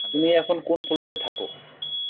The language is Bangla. তুমি এখন কোন floor এ থাকো